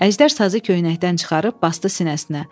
Əjdər sazı köynəkdən çıxarıb basdı sinəsinə.